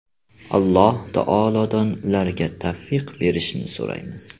Alloh taolodan ularga tavfiq berishini so‘raymiz.